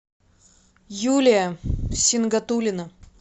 юлия сингатулина